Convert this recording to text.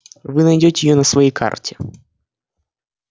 вы найдёте её на своей карте